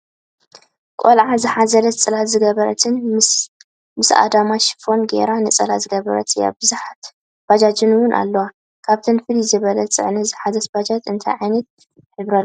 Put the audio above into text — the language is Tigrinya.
ቆልዓ ዝሓዘለትን ፅላል ዝገበረትን ምስኣድማ ሽፈን ግይራ ነፀላ ዝገበረት እያ። ብዝሓት ባጃጃት እውን ኣለዎ ።ካብኣተን ፍልይ ዝበለት ፅዕነት ዝሓዘት ባጃጅ እንታይ ዓይነት ሕበሪ ኣለዎ?